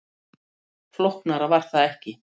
Flóknara var það ekki